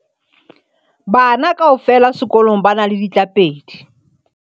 Bana kaofela sekolong ba na le ditlapedi.